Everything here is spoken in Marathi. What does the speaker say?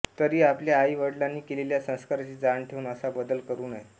तरी आपल्या आई वडीलांनी केलेल्या संस्काराची जाण ठेवून असा बदल करू नये